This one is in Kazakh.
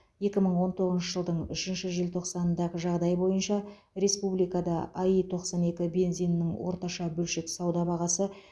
екі мың он тоғызыншы жылдың үшінші желтоқсанындағы жағдай бойынша республикада аи тоқсан екі бензинінің орташа бөлшек сауда бағасы